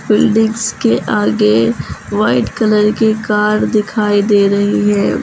Buildings के आगे white colour की कार दिखाई दे रही है।